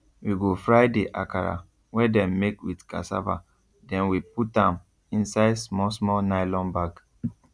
we go fry the akara wey dem make with cassava then we put am inside small small nylon bag